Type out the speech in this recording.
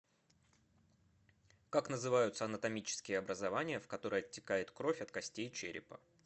как называются анатомические образования в которые оттекает кровь от костей черепа